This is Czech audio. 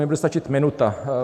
Mně bude stačit minuta.